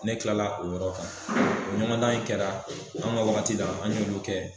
Ne kilala o yɔrɔ kan, ɲɔgɔndan in kɛra, an ka waati la an ɲ'olu kɛ